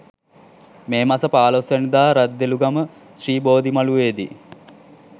මේ මස 15 වැනි දා රද්දොළුගම ශ්‍රී බෝධිමළුවේ දී